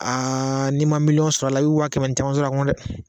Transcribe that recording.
Aaa n'i ma miliyɔn sɔrɔ a la i bi waa kɛmɛ ni caman sɔrɔ a kɔnɔ dɛ